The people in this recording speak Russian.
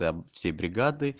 да всей бригадой